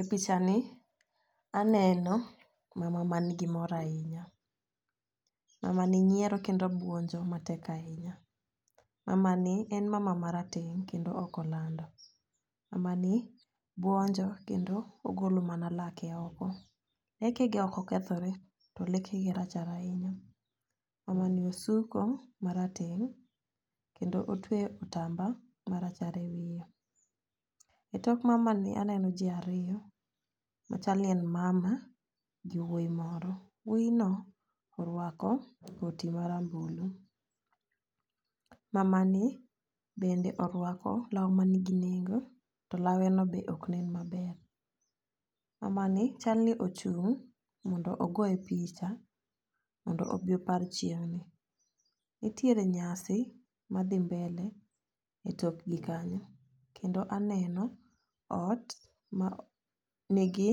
E picha ni aneno mama ma ni nigi mor ahinya. Mamani nyiero kendo buonjo matek ahinya. Mamani en mama marateng ' kendo ok olando. Mamani buonjo kendo ogolo mana lake oko lekege ok okethore to lekege rachar ahinya. Mamani osuko marateng' kendo otweyo kitamba marachar e wiye. E tok mamani aneno jii ariyo machal ni en mama gi wuoyi moro wuoyi no orwako koti marambulu. Mama ni bende orwako law manigi nengo to lawe no be ok nen maber. Mamani chal ni ochung' mondo ogoye picha modno obi opar chieng'ni . Nitiere nyasi madhi mbele e tok jii kanyo kendo aneno ot ma nigi